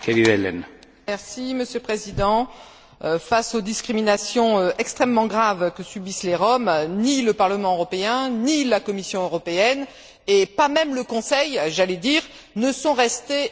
Monsieur le Président, face aux discriminations extrêmement graves que subissent les Roms, ni le Parlement européen, ni la Commission européenne ni même le Conseil, j'allais dire, ne sont restés les bras ballants.